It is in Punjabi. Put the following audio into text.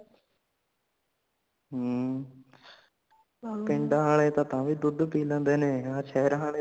ਹਮ ਪਿੰਡਾਂ ਆਲੇ ਤਾ ਤਾਂ ਵੀ ਦੁਧ ਪੀ ਲੈਂਦੇ ਨੇ ਆਸ਼ਹਿਰਾਂ ਆਲੇ ਤਾ